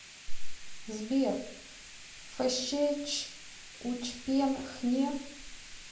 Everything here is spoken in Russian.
сбер фщ ч учпен хне